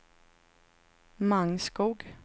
Mangskog